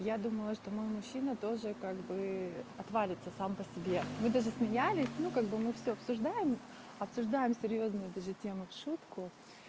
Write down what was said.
я думала что мой мужчина тоже как бы отвалится сам по себе мы даже смеялись ну как бы мы всё обсуждаем обсуждаем серьёзную даже тему в шутку